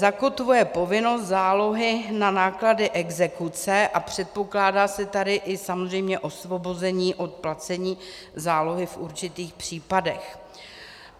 Zakotvuje povinnost zálohy na náklady exekuce a předpokládá se tady i samozřejmě osvobození od placení zálohy v určitých případech.